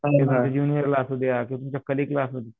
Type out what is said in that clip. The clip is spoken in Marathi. ज्युनियर ला असुद्या किंवा तुमच्या कलीग ला असुद्या